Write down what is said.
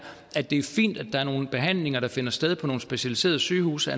at det er fint at der er nogle behandlinger der finder sted på nogle specialiserede sygehuse